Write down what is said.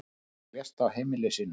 Maðurinn lést á heimili sínu.